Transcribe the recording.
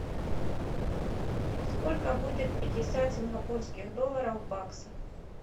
сколько будет пятьдесят сингапурских долларов в баксах